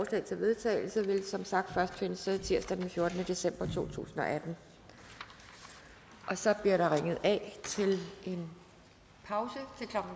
til vedtagelse vil som sagt først finde sted tirsdag den fjortende december to tusind og atten så bliver der ringet af til en pause